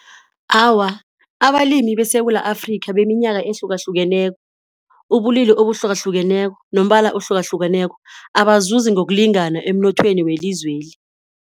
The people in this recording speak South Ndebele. Awa, abalimi beSewula Afrika beminyaka ehlukahlukeneko, ubulili obuhlukahlukeneko nombala ohlukahlukeneko abazuzi ngokulingana emnothweni welizweli.